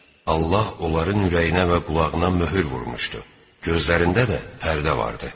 Allah onların ürəyinə və qulağına möhür vurmuşdu, gözlərində də pərdə vardı.